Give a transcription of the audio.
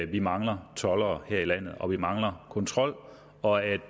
vi mangler toldere her i landet og vi mangler kontrol og at